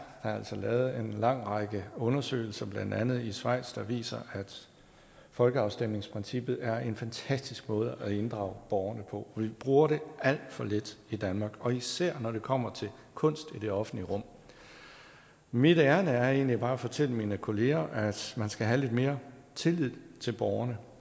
altså lavet en lang række undersøgelser blandt andet i schweiz der viser at folkeafstemningsprincippet er en fantastisk måde at inddrage borgerne på og vi bruger det alt for lidt i danmark og især når det kommer til kunst i det offentlige rum mit ærinde er egentlig bare at fortælle mine kolleger at man skal have lidt mere tillid til borgerne